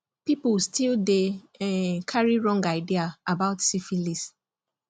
people still dey um carry wrong idea about syphilis